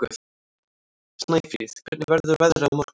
Snæfríð, hvernig verður veðrið á morgun?